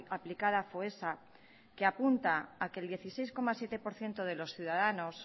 aplicada foessa que apunta que el dieciséis coma siete por ciento de los ciudadanos